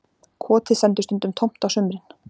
Kotið stendur stundum tómt á sumrin